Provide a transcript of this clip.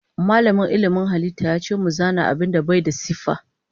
Malamin ilmin halitta yace mu zana abinda Bai da siffa.